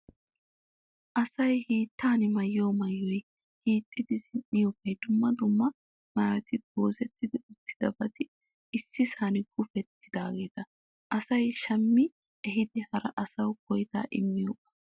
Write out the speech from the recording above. Asayi hiittan maayyiyoo maayyoyi, hiixxidi zin''iyoobayi, dumma dumma maayyotinne goozetti uttidabati issisan guupettidaageetaa. Asayi shammi ehiidi hara asawu koyitaa immiyoogaa.